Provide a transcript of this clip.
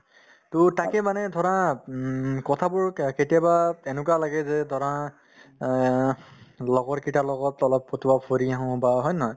to তাকে মানে ধৰা উম কথাবোৰ কা~ কেতিয়াবা তেনেকুৱা লাগে যে ধৰা অহ লগৰকেইটাৰ লগত অলপ ফটোৱা ফুৰি আহো বা হয় নে নহয়